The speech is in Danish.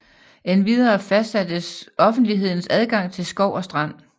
Endvidere fastsattes offentlighedens adgang til skov og strand